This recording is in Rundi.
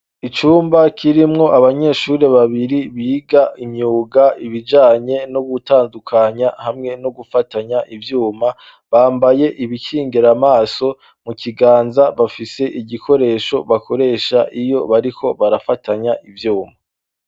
icumba kirimwo abanyeshuri babiri biga imyuga ibijanye no gutandukanya hamwe no gufatanya ivyuma bambaye ibikingera maso mu kiganza bafise igikoresho bakoresha iyo bariko barafatanya ivyuma